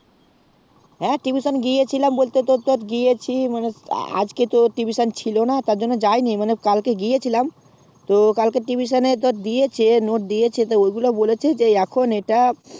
আ tuition গিয়েছিলাম বলতে তোর গিয়েছি মানে আজকে তোর tuition ছিলোনা তার জন্য যায়নি মানে কালকে গিয়েছিলাম তো কালকে tuition এ দিয়েছে note দিয়েছে তা ঐগুলা বলছে এখন এটা